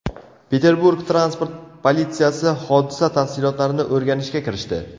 Peterburg transport politsiyasi hodisa tafsilotlarini o‘rganishga kirishdi.